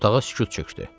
Otağa sükut çökdü.